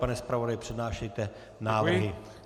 Pane zpravodaji, přednášejte návrhy.